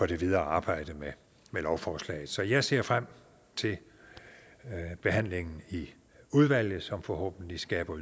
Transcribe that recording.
det videre arbejde med lovforslaget så jeg ser frem til behandlingen i udvalget som forhåbentlig skaber